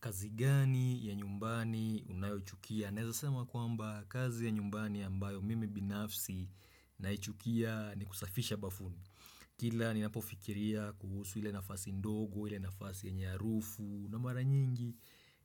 Kazi gani ya nyumbani unayochukia? Naeza sema kwamba kazi ya nyumbani ambayo mimi binafsi naichukia ni kusafisha bafuni. Kila ni napofikiria kuhusu ile nafasi ndogo, hile nafasi yenye harufu na mara nyingi,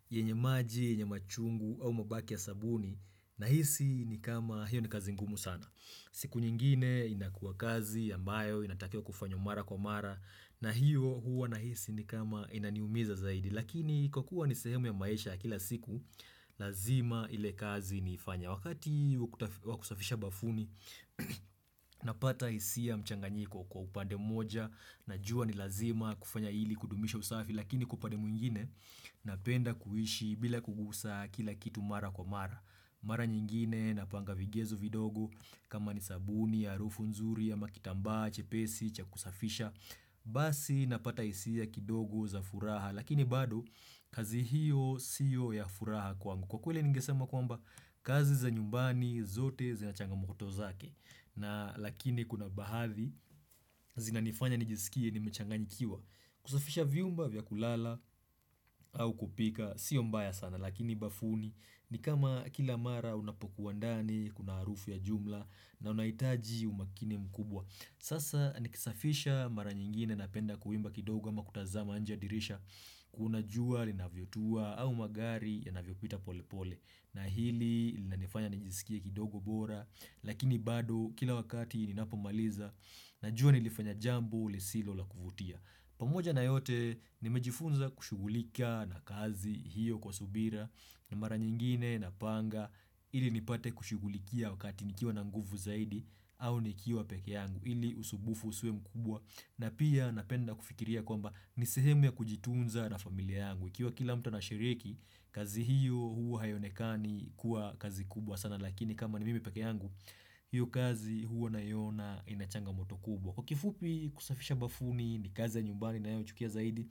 yenye maji, yenye machungu au mabaki ya sabuni. Nahisi ni kama hiyo ni kazi ngumu sana. Siku nyingine inakua kazi ambayo inatakiwa kufanywa mara kwa mara na hiyo huwa nahisi ni kama inaniumiza zaidi. Lakini kwa kuwa ni sehemu ya maisha ya kila siku, lazima ile kazi naifanya. Wakati wakusafisha bafuni, napata hisia mchanganyiko kwa upande moja. Najua ni lazima kufanya ili kudumisha usafi lakini kwa upande mwingine, napenda kuishi bila kugusa kila kitu mara kwa mara. Mara nyingine, napanga vigezo vidogo, kama ni sabuni, harufu nzuri, ama kitambaa chepesi cha kusafisha Basi napata hisia kidogo za furaha, Lakini bado kazi hiyo siyo ya furaha kwangu. Kwa kweli ningesema kwamba kazi za nyumbani zote zina changamoto zake na lakini kuna baadhi zinanifanya nijisikie nimechanganikiwa. Kusafisha vyumba vya kulala au kupika sio mbaya sana, Lakini bafuni ni kama kila mara unapokuwa ndani kuna harufu ya jumla na unahitaji umakini mkubwa. Sasa nikisafisha mara nyingine napenda kuimba kidoga ama kutazama nje ya dirisha Kuna jua linavyotua au magari yanavyo pita pole pole na hili linanifanya nijisikie kidogo bora Lakini bado kila wakati ninapomaliza Najua nilifanya jambo lisilo la kuvutia. Pamoja na yote nimejifunza kushugulika na kazi hiyo kwa subira na mara nyingine napanga ili nipate kushugulikia wakati nikiwa na nguvu zaidi au nikiwa peke yangu ili usubufu usiwe mkubwa na pia napenda kufikiria kwamba nisehemu ya kujitunza na familia yangu Ikiwa kila mtu anashiriki, kazi hiyo huwa haionekani kuwa kazi kubwa sana Lakini kama ni mimi peke yangu, hiyo kazi hua naiona inachangamoto kubwa Kwa kifupi kusafisha bafuni ni kazi ya nyumbani ninayochukia zaidi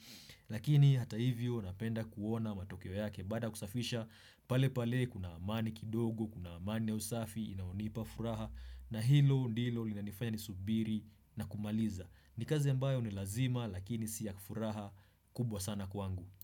Lakini hata hivyo napenda kuona matokeo yake. Baada ya kusafisha pale pale kuna amani kidogo, kuna amani ya usafi, inayonipa furaha na hilo ndilo linanifanya ni subiri na kumaliza ni kazi mbayo ni lazima lakini siya furaha kubwa sana kwangu.